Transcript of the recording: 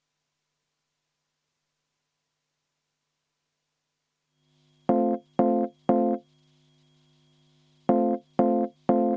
Juhtivkomisjoni seisukoht on.